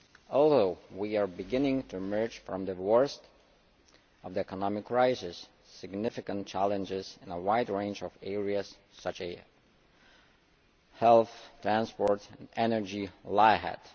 Although we are beginning to emerge from the worst of the economic crisis, significant challenges in a wide range of areas such as health, transport and energy lie ahead.